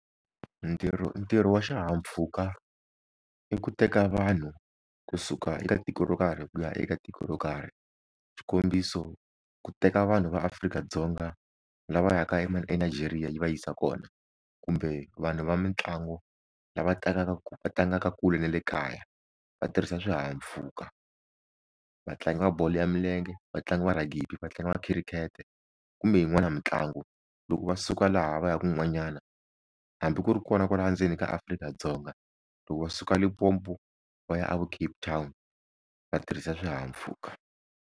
Ntirho ntirho wa xihahampfhuka i ku teka vanhu kusuka eka tiko ro karhi ku ya eka tiko ro karhi xikombiso ku teka vanhu va Afrika-Dzonga lava yaka eNigeria yi va yisa kona kumbe vanhu va mitlangu lava tlangaka tlangaka kule na le kaya va tirhisa swihahampfhuka vatlangi va bolo ya milenge, vatlangi va ragibi, vatlangi va khirikete kumbe yin'wana mitlangu loko va suka laha va ya kun'wanyana hambi ku ri kona kwaha ndzeni ka Afrika-Dzonga loko va suka Limpopo va ya a vo Cape Town va tirhisa swihahampfhuka.